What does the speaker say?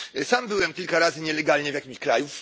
Sam byłem kilka razy nielegalnie w jakimś kraju.